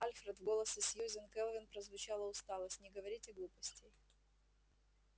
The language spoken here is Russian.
альфред в голосе сьюзен кэлвин прозвучала усталость не говорите глупостей